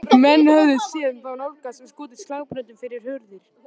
Menn höfðu séð þá nálgast og skotið slagbröndum fyrir hurðir.